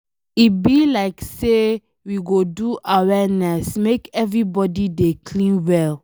E be like say we go do awareness make everybody dey clean well.